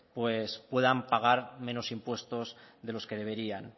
pues puedan pagar menos impuestos de los que deberían